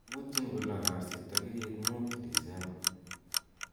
iputjin ko lo kasii tagigit muut disemba